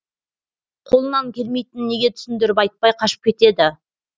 қолынан келмейтінін неге түсіндіріп айтпай қашып кетеді